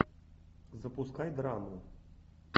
запускай драму